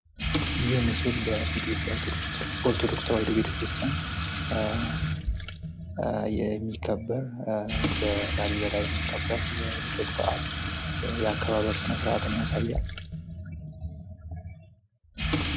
ይህ ምስል በኢትዮጵያ ኦርቶዶክስ ተዋህዶ ቤተክርስቲያን የሚከበር ፤ በላሊበላ የሚከበር የልደት በአል የአከባበር ስነስርዓትን ያሳያል ።